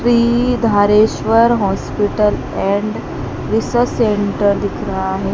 Shri Dhareshwar hospital and research centre दिख रहा है।